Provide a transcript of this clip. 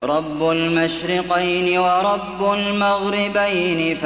رَبُّ الْمَشْرِقَيْنِ وَرَبُّ الْمَغْرِبَيْنِ